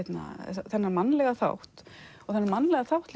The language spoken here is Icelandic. þennan mannlega þátt og þennan mannlega þátt